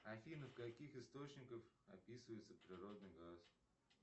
афина в каких источниках описывается природный газ